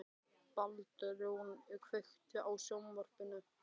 Baldrún, kveiktu á sjónvarpinu.